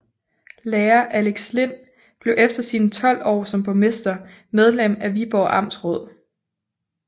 Lærer Alex Lind blev efter sine 12 år som borgmester medlem af Viborg Amtsråd